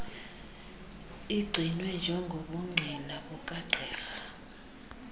igcinwe njengobungqina bukagqirha